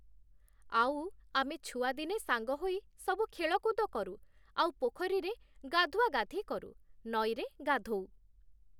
ଆଉ ଆମେ ଛୁଆଦିନେ ସାଙ୍ଗ ହୋଇ ସବୁ ଖେଳକୁଦ କରୁ, ଆଉ ପୋଖରୀରେ ଗାଧୁଆଗାଧି କରୁ, ନଈରେ ଗାଧୋଉ ।